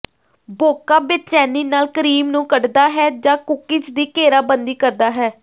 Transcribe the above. ਬੋਕਾ ਬੇਚੈਨੀ ਨਾਲ ਕਰੀਮ ਨੂੰ ਕੱਢਦਾ ਹੈ ਜਾਂ ਕੂਕੀਜ਼ ਦੀ ਘੇਰਾਬੰਦੀ ਕਰਦਾ ਹੈ